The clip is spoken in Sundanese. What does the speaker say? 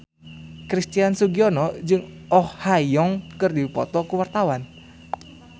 Christian Sugiono jeung Oh Ha Young keur dipoto ku wartawan